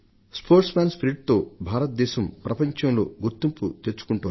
క్రీడా స్ఫూర్తితో భారతదేశం ప్రపంచంలో గుర్తింపు తెచ్చుకుంటోంది